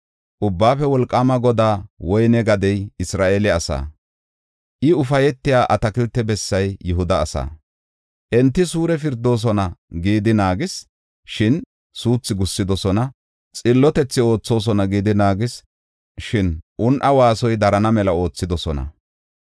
Ubbaafe Wolqaama Godaa woyne gadey Isra7eele asaa. I, ufaytiya atakilte bessay Yihuda asaa. Enta suure pirdoosona gidi naagis; shin suuthi gussidosona. Xillotethi oothosona gidi naagis; shin un7a waasoy darana mela oothidosona.